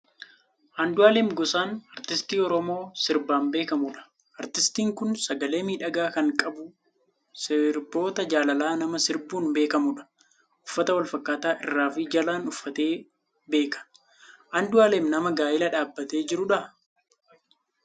Andu'aalem Gosaan Artistii Oromoo sirbaan beekamudha. Artistiin kun sagalee miidhagaa kan qabu, sirboota jaalalaa nama sirbuun beekamudha. Uffata wal fakkaataa irraa fi jalaan uffatee beeka. Andu'aalem nama gaa'ela dhaabbatee jirudhaa?